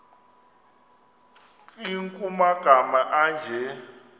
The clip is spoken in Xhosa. nkr kumagama anje